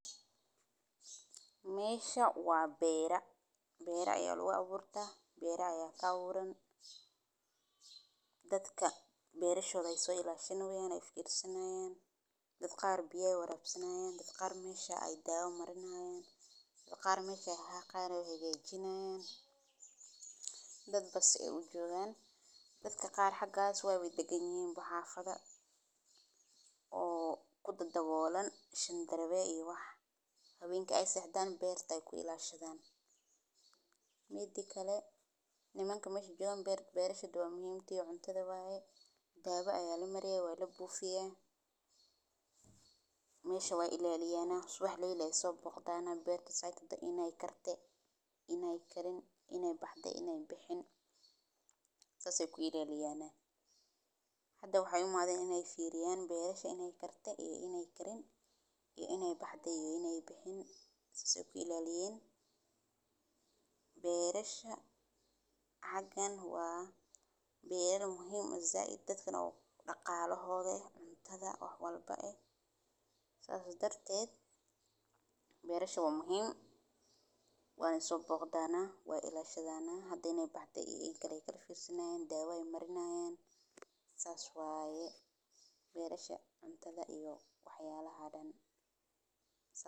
Meesha waa beera. Beera ayaa lagu abuurtaa. Beera ayaa ka warram dadka beera shalay soo ilaalinayaan, cunsurayaan, dadka aad bay waqooyi haysanayaan, dadka aad meesha ay daawo marinaayaan, dadka aad meesha ha aqoonyahay gayjinaayaan, dad bas u joogaan. Dadka qaar xaggaas waa way degan yihiin baxaafada oo ku dagaallan shan darbeey iyo wax habeenka ay seexdaan beerta ay ku ilaashadaan. Midkale nimaanka meesha joogaa beerta, beerta shadu ah muhimti ah cuntada waaye. Daawo ayaa la marayay, waa la buu fiyay. Meesha waan ilaaliyaanahay subax la ileyso boqdaana beerta saydida inay kar ta, inay karin, inay baxdo, inay bixin sasse ku ilaaliyaan. Hadda waxay u maadaan inay fiiriyaan beerta inay kar ta iyo inay karin iyo inay baxdo iyo inay bixin sasse ku ilaaliyaan. Beerasha cagaan waa beerar muhiima. Isza ay dadkan u dhaqaalahooday cuntada ah ah ah ah. Ahlan badan ayay saameysan darteed. Beerashu muhiim waan ay soo boqdaana waa ilaa shadaad ah hadday nay baxdo inay karin kar firsinaan daawo ay marinaayaan. Saas waaye beerasha cuntada iyo waxyaabo la hadan sano.